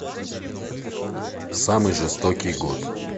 самый жестокий год